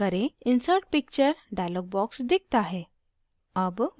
insert picture dialog box दिखता है